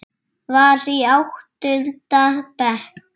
Var í áttunda bekk.